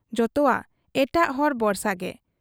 ᱡᱚᱛᱚᱣᱟᱜ ᱮᱴᱟᱜ ᱦᱚᱲ ᱵᱚᱨᱥᱟᱜᱮ ᱾